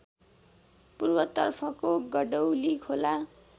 पूर्वतर्फको गडौली खोला